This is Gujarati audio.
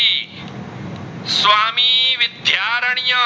ધ્યારણીય